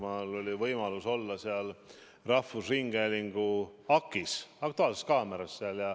Mul oli võimalus olla rahvusringhäälingu "Aktuaalses kaameras".